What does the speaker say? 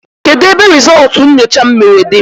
Kedụ ebe rizultú nyocha m mere dị?